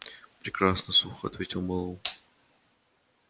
прекрасно сухо ответил мэллоу